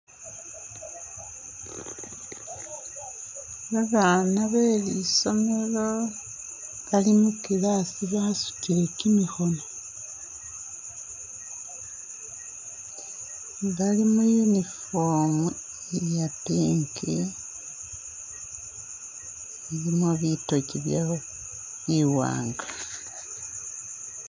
Babaana be lisomelo bali mu class basutile kyimikhono, bali mu uniform iya pink ilimo bitoji biwaanga.